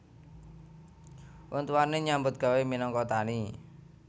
Wong tuwane nyambut gawé minangka tani